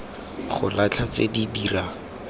go latlha tse di dirang